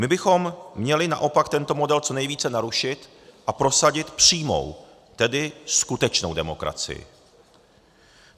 My bychom měli naopak tento model co nejvíce narušit a prosadit přímou, tedy skutečnou demokracii.